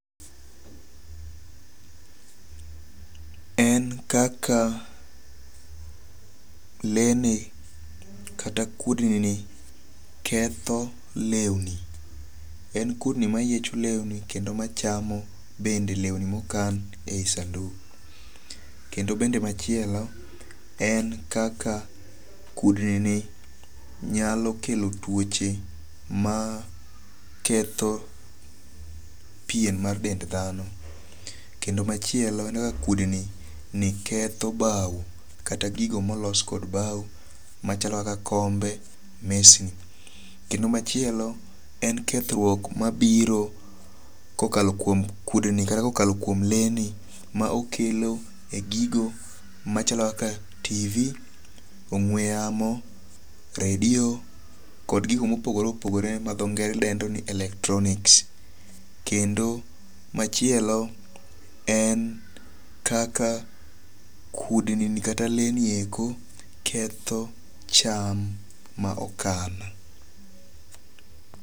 En kaka le ni kata kudni ni ketho lewni. En kudni mayiecho lewni kendo machamo bende lewni mokan e yi sanduk. Kendo bende machielo en kaka kudni ni nyalo kelo tuoche ma ketho pien mar dend dhano. Kendo machielo kudni ni ketho baw kata gigo molos kod baw machalo kaka kombe, mesni. Kendo machielo en kethruok mabiro kokalo kuom kudni kata kokalo kuom le ni ma okelo e gigo machalo kaka TV, ong'we yamo, radio kod gigo mopogore opogore ma dho knge re dendo ni electronics. Kendo machielo en kaka kudni ni kata le ni eko ketho cham ma okan.